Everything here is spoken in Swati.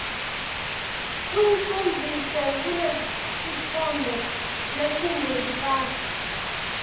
uyicondzise kulesitfombe lesingentasi